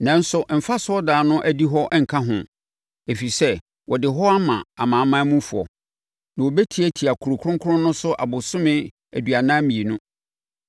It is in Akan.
Nanso, mfa asɔredan no adihɔ nka ho, ɛfiri sɛ, wɔde hɔ ama amanamanmufoɔ, na wɔbɛtiatia kuro kronkron no so abosome aduanan mmienu.